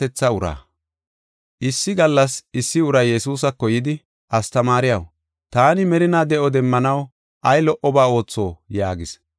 Issi gallas issi uray Yesuusako yidi, “Astamaariyaw, taani merinaa de7o demmanaw ay lo77oba ootho?” yaagis.